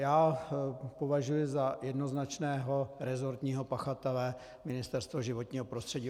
Já považuji za jednoznačného resortního pachatele Ministerstvo životního prostředí.